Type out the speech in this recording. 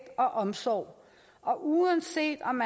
og omsorg og uanset om